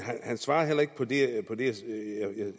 han svarede heller ikke på det